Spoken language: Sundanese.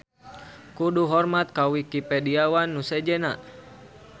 Kudu hormat ka Wikipediawan nu sejenna.